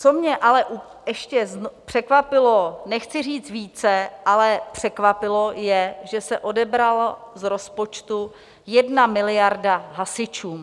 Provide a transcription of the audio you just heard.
Co mě ale ještě překvapilo, nechci říct více, ale překvapilo, je, že se odebrala z rozpočtu 1 miliarda hasičům.